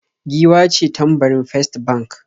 Giwa ce tambarin First Bank